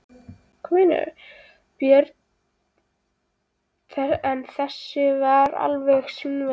Björn: En þessi alveg svínvirkar?